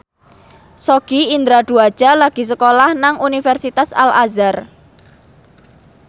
Sogi Indra Duaja lagi sekolah nang Universitas Al Azhar